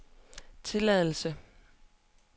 tilladelse